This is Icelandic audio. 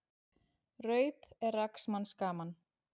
Raup er rags manns gaman.